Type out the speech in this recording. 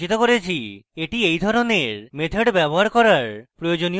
that এই ধরনের methods ব্যবহার করার প্রয়োজনীয় উপায়